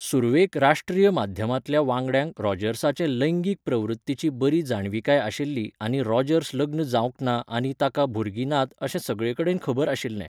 सुरवेक राश्ट्रीय माध्यमांतल्या वांगड्यांक रॉजर्साचे लैंगीक प्रवृत्तीची बरी जाणविकाय आशिल्ली आनी रॉजर्स लग्न जावंक ना आनी ताका भुरगीं नात अशें सगळेकडेन खबर आशिल्लें.